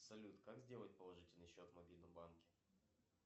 салют как сделать положительный счет в мобильном банке